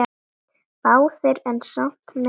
Báðir en samt meira Bubbi.